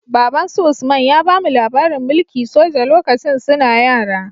Babbansu usman ya bamu labarin mulki soja lokacin suna yara